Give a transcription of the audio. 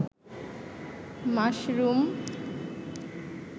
mushroom